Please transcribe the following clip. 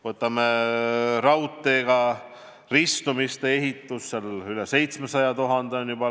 Vaatame raudteega ristumiste ehitust – selle peale on läinud juba üle 700 000 euro.